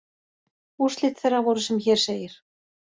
Úrslit þeirra voru sem hér segir